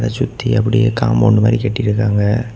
சுத்தி அப்படியே காம்பவுண்ட் மாதிரி கட்டி இருக்காங்க.